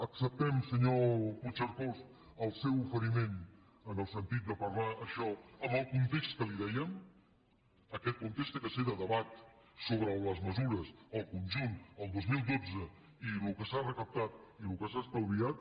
acceptem senyor puigcercós el seu oferiment en el sentit de parlar això en el context que li dèiem aquest context ha de ser de debat sobre les mesures el conjunt el dos mil dotze i el que s’ha recaptat i el que s’ha estalviat